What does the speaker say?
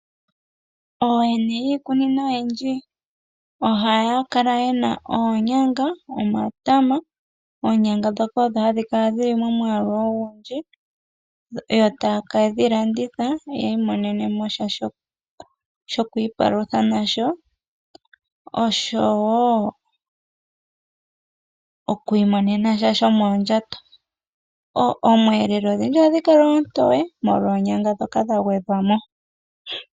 Ooyene yiikunino oyindji ohaya kala yena oonyanga, omatama. Oonyanga dhoka hadhi kala dhili momwaalu ogundji, yo taye ke dhi landitha ya imonenemo sha shoku ipalutha nasho. Oshowo oku imonena sha sho mondjato. Omweelelo odhindji ohadhi kala oontowe molwa oonyanga dhoka dha gwedhwamo.